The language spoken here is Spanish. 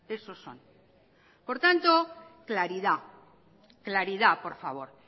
esos son por tanto claridad claridad por favor